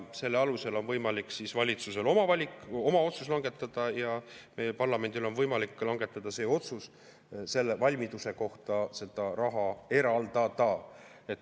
Selle alusel on võimalik valitsusel oma otsus langetada ja parlamendil on võimalik langetada otsus valmiduse kohta seda raha eraldada.